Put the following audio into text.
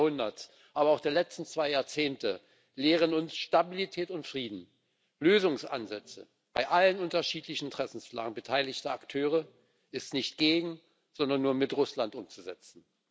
20. Jahrhunderts, aber auch der letzten zwei Jahrzehnte lehren uns Stabilität und Frieden, Lösungsansätze bei allen unterschiedlichen Interessenslagen beteiligter Akteure sind nicht gegen, sondern nur mit Russland umzusetzen.